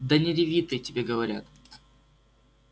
да не реви ты тебе говорят